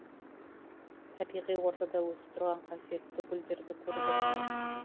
табиғи ортада өсіп тұрған қасиетті гүлдерді көрдім